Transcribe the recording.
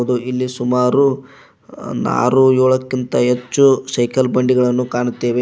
ಹಾಗೂ ಇಲ್ಲಿ ಸುಮಾರು ಆರು ಏಳುಕ್ಕಿಂತ ಹೆಚ್ಚು ಸೈಕಲ್ ಬಂಡಿಗಳನ್ನು ಕಾಣುತ್ತೇವೆ.